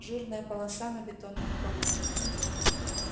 жирная полоса на бетонном полу